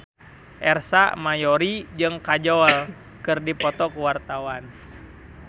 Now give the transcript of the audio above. Ersa Mayori jeung Kajol keur dipoto ku wartawan